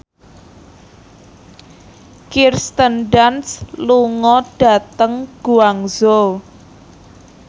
Kirsten Dunst lunga dhateng Guangzhou